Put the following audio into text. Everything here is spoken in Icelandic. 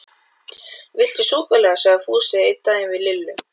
Engin fyrirgefning var til fyrir þessa gjörð mína.